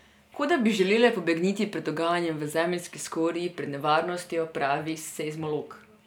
Kot da bi želele pobegniti pred dogajanjem v zemeljski skorji, pred nevarnostjo, pravi seizmolog.